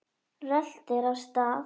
Röltir af stað.